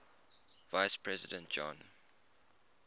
vice president john